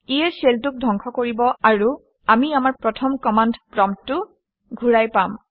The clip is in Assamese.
ইয়ে শেল 2 ক ধ্বংস কৰিব আৰু আমি আমাৰ প্ৰথমৰ কমাণ্ড প্ৰম্পটটো ঘূৰাই পাম